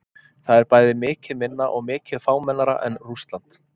Það er bæði mikið minna og mikið fámennara en Rússland.